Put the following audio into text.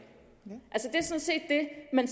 man